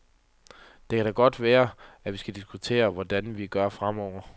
Det kan da godt være, at vi skal diskutere, hvordan vi gør fremover.